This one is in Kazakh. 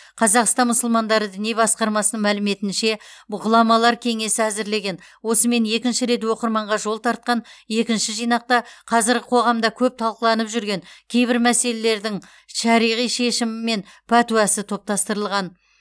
қазақстан мұсылмандары діни басқармасы мәліметінше ғұламалар кеңесі әзірлеген осымен екінші рет оқырманға жол тартқан екінші жинақта қазіргі қоғамда көп талқыланып жүрген кейбір мәселелердің шариғи шешімі мен пәтуасы топтастырылған